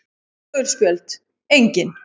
Gul spjöld: Engin.